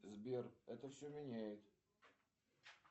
сбер это все меняет